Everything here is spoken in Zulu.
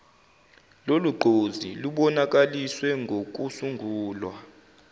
lolugqozi lubonakaliswe ngokusungulwa